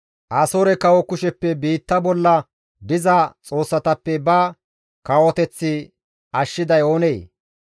Asoore kawo kusheppe biitta bolla diza xoossatappe ba kawoteth ashshiday oonee?